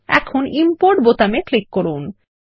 এখন ইম্পোর্ট বোতামে ক্লিক করুন